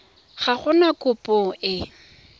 ga go na kopo e